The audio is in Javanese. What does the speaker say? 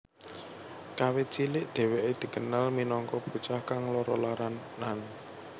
Kawit cilik dheweke dikenal minangka bocah kang lara laranan